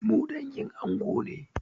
Mu dangin ango ne.